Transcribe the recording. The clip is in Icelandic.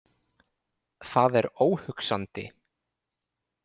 Það er óhugsandi